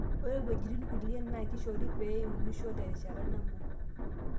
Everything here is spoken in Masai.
ore iwejitin kulie naa kishoro pee iunisho terishata nabo